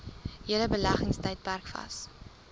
hele beleggingstydperk vas